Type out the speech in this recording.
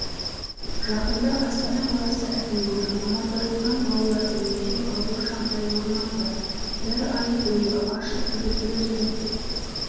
жақында астана қаласы әкімдігі мамандандырылған балалар үйінде ауыр жағдай орын алды бір ай бойы ашық туберкулезбен